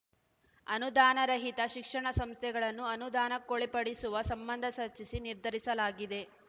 ಅನುದಾನ ರಹಿತ ಶಿಕ್ಷಣ ಸಂಸ್ಥೆಗಳನ್ನು ಅನುದಾನಕ್ಕೊಳಪಡಿಸುವ ಸಂಬಂಧ ಸರ್ಚಿಸಿ ನಿರ್ಧರಿಸಲಾಗಿದೆ